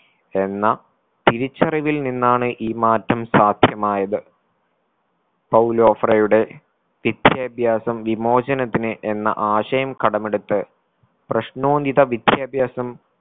എന്ന തിരിച്ചറിവിൽ നിന്നാണ് ഈ മാറ്റം സാധ്യമായത് പൗലോഫറയുടെ വിദ്യാഭ്യാസം വിമോചനത്തിന് എന്ന ആശയം കടമെടുത്ത് പ്രശ്നോന്നിത വിദ്യാഭ്യാസം